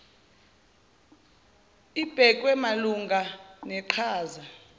ibhekwe malungana neqhaza